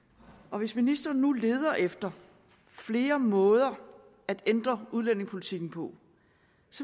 hvis ministeren nu leder efter flere måder at ændre udlændingepolitikken på